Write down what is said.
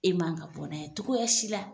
E m'an ka bɔ n'a ye cogoya si la .